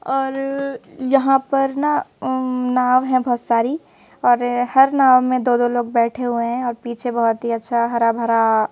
और यहां पर ना अं नाव है बहोत सारी और हर नाव में दो दो लोग बैठे हुए हैं और पीछे बहोत ही अच्छा हरा भरा--